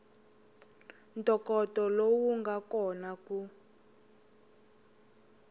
ntokoto lowu nga kona ku